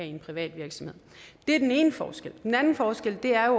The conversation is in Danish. i en privat virksomhed det er den ene forskel den anden forskel er